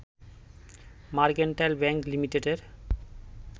mercantile Bank লিমিটেডের